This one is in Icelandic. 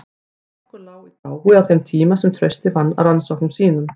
Strokkur lá í dái á þeim tíma sem Trausti vann að rannsóknum sínum.